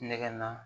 Nɛgɛ na